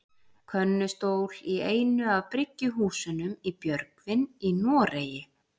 Könnustól í einu af bryggjuhúsunum í Björgvin í Noregi.